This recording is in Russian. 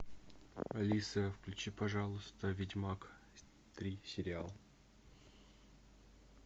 алиса включи пожалуйста ведьмак три сериал